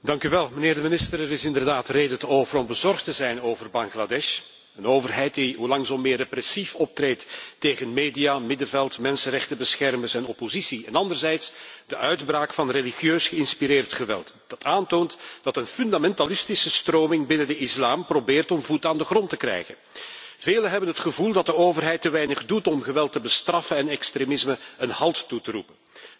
Mevrouw de hoge vertegenwoordiger, er is reden te over om bezorgd te zijn over Bangladesh een overheid die hoe langs zo meer repressief optreedt tegen media, middenveld, mensenrechtenbeschermers en oppositie en anderzijds de uitbraak van religieus geïnspireerd geweld dat aantoont dat een fundamentalistische stroming binnen de islam probeert voet aan de grond te krijgen. Velen hebben het gevoel dat de overheid te weinig doet om geweld te bestraffen en extremisme een halt toe te roepen.